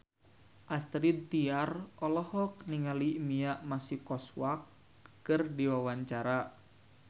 Astrid Tiar olohok ningali Mia Masikowska keur diwawancara